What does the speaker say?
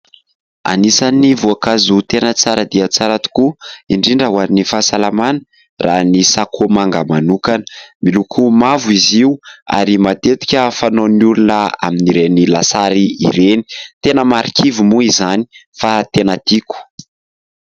Anisan'ny voankazo tena tsara dia tsara tokoa indrindra ho an'ny fahasalamana raha ny sakomanga manokana, miloko mavo izy io ary matetika fanaon'ny olona amin'ireny lasary ireny. Tena marikivy moa izany fa tena tiako.